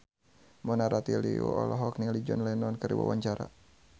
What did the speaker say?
Mona Ratuliu olohok ningali John Lennon keur diwawancara